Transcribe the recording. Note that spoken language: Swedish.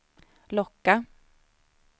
locka